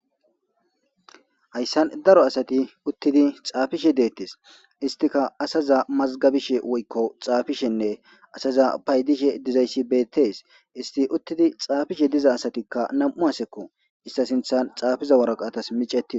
hayssan daro asati uttidi xaafishe deettes istika asaza mazgabishe woykko xaafishenne asaza paydishe dizayssi beettes isti uttidi xaafishe diza asatikka nam7u asekko ista sinthan xaafiza woraqaatas micetii